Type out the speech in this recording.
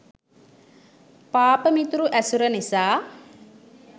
පාප මිතුරු ඇසුර නිසා